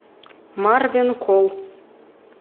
марвенкол